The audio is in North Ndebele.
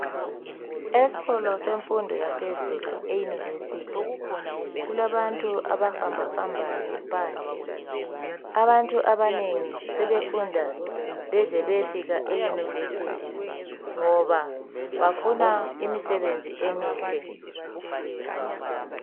Esikolo semfundo yaphezulu eYunivesithi kulabantu abahamba hambayo phandle abantu abanengi sebefunda beze beyefika eYunivesithi ngoba bafuna imisebenzi emihle.